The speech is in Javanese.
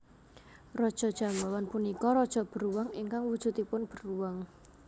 Raja Jambawan punika raja beruang ingkang wujudipun beruang